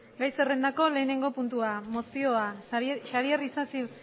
gai zerrendako lehenengo puntua mozioa xabier isasi